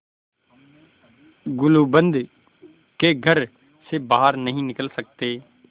गुलूबंद के घर से बाहर नहीं निकल सकते